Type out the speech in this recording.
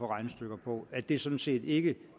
regnestykker på at det sådan set ikke